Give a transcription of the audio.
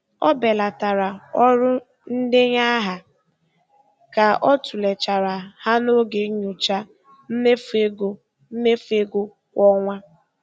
Ọ belatara ọrụ ndenye aha ka ọ tụlechara ha n'oge nyocha mmefu ego mmefu ego kwa ọnwa.